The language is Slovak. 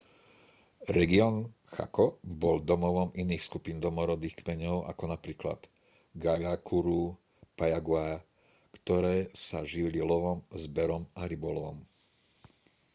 región chaco bol domovom iných skupín domorodých kmeňov ako napríklad guaycurú a payaguá ktoré sa živili lovom zberom a rybolovom